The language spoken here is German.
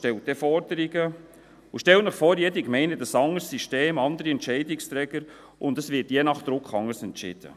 Stellen Sie sich vor, jede Gemeinde hat ein anderes System und andere Entscheidungsträger, und es wird je nach Druck anders entschieden.